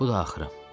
Bu da axırım.